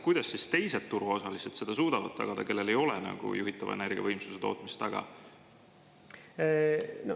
Kuidas teised turuosalised seda suudavad tagada, kellel ei ole juhitava energiavõimsuse tootmist?